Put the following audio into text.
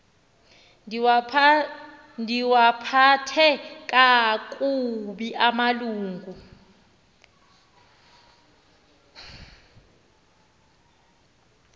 ndiwaphathe kakubi amalungu